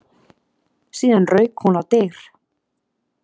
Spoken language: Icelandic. Síðan rauk hún á dyr.